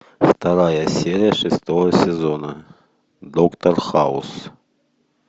вторая серия шестого сезона доктор хаус